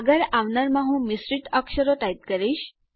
આગળ આવનારમાં હું મિશ્રિત અક્ષરો ટાઈપ કરીશ